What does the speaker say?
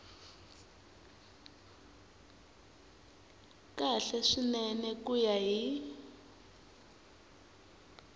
kahle swinene ku ya hi